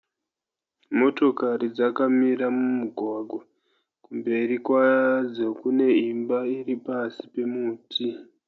Motokari dzakamira mumugwagwa. Kumberi kwadzo kune imba iri pasi pemuti.